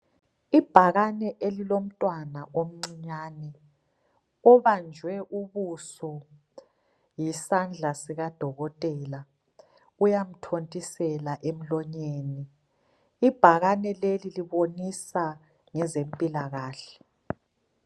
Ibhakane elilomntwana omncinyane, obanjwe ubuso yisandla sikadokotela, uyamthontisela emlonyeni. Ibhakane leli libonisa ngezempilakahle.